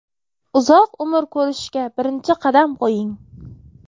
Uzoq umr ko‘rishga birinchi qadam qo‘ying!.